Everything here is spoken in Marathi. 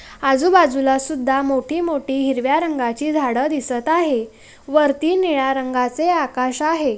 आजू-बाजू लसुद्दा मोटी-मोटी हिरविया रंगाची झाड़ रिसता आहे वर्ती निया रंगा चे आकश आहे।